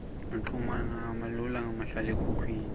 kuchumana kulula ngamahlalekhukhwini